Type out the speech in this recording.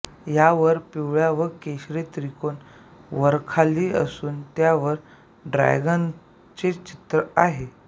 यावर पिवळा व केशरी त्रिकोन वरखाली असून त्यांच्यावर ड्रॅगनचे चित्र आहे